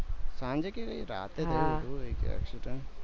સાંજે કે રાતે થયું હતું accident